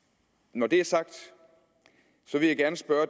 når det er sagt vil jeg gerne spørge